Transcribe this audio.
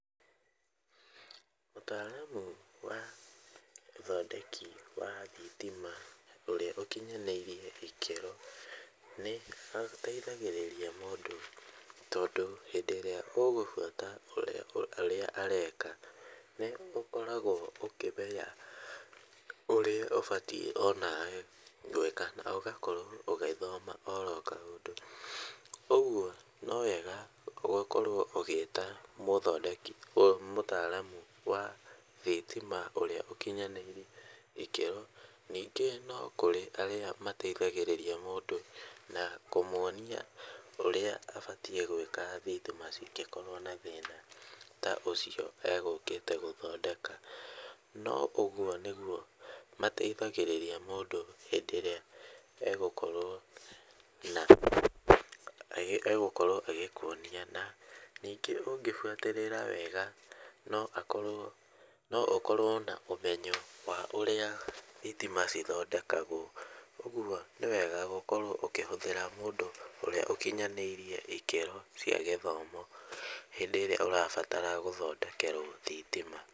Mũtaaramu wa ũthondeki wa thitima ũrĩa ũkinyanĩirire ikĩro nĩateithagĩrĩria mũndũ tondũ hĩndĩ ĩrĩa ũgũbuata ũrĩa ũrĩa areka nĩũkoragwo ũkĩmenya ũrĩa ũbatiĩ onawe gwĩka na ũgakorwo ũgĩthoma oro kaũndũ. ũguo nowega gũkorwo ũgĩta mũthodeki mũtaaramu wa thitima ũrĩa ũkinyanĩirie ikĩro, ningĩ no kũrĩ arĩa mateithagĩrĩrĩria mũndũ na kũmonia ũrĩa abatiĩ gwĩka thitima cingĩkorwo na thĩna ta ũcio egũkĩte gũthondeka. No ũguo nĩguo mateithagĩrĩria mũndũ hĩndĩ ĩrĩa egũkorwo na egũkorwo agĩkuonia na ningĩ ũngĩbutĩrĩra wega no akorwo na no ũkorwo na ũmenyo wa ũrĩa thitima cithondekagwo, ũguo nĩwega gũkorwo ũkĩhũthĩra mũndũ ũrĩa ũkinyanĩirie ikĩro cia gĩthomo hĩndĩ ĩrĩa ũrabatara gũthondekerwo thitima.